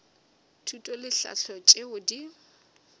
thuto le tlhahlo tšeo di